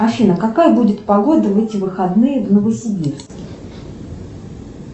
афина какая будет погода в эти выходные в новосибирске